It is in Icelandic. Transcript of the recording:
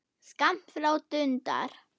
Skammt frá dundar